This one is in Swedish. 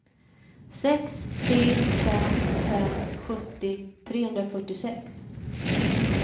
sex tre fem fem sjuttio trehundrafyrtiosex